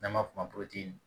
N'an b'a f'o ma